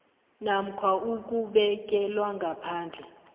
namkha ukubekelwa ngaphandle